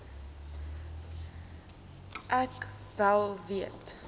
ek wel weet